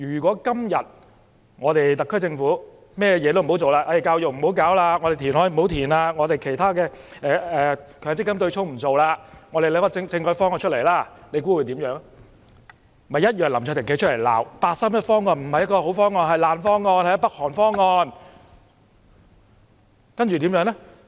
假如特區政府甚麼也不做，教育問題、填海，強積金對沖等問題也不處理，而只是提出政改方案，屆時林卓廷議員同樣會站出來，責罵八三一方案不是好方案、是爛方案、是北韓方案。